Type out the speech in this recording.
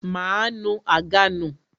Máa nu àga nù